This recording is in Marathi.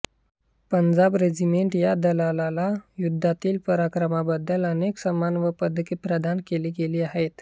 पंजाब रेजिमेंट या दलाला युद्धातील पराक्रमांबद्दल अनेक सन्मान व पदके प्रदान केली गेली आहेत